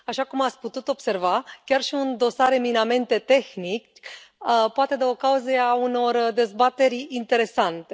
Așa cum ați putut observa, chiar și un dosar eminamente tehnic poate da ocazia unor dezbateri interesante.